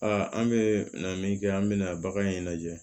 Aa an bɛ na min kɛ an bɛna bagan in lajɛ